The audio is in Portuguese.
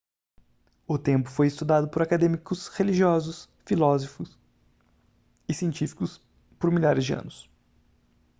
o tempo foi estudado por acadêmicos religiosos filosóficos e científicos por milhares de anos